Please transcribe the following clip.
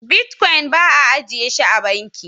"Bitcoins" bai a ajiye shi a banki.